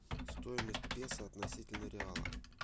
стоимость песо относительно реала